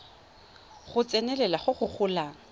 go tsenelela go go golang